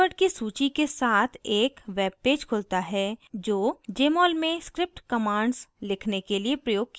keyword की सूची के साथ एक web पेज खुलता है जो jmol में script commands लिखने के लिए प्रयोग किया गया है